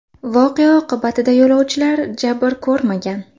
Voqea oqibatida yo‘lovchilar jabr ko‘rmagan.